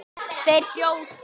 Þeir hrjóta.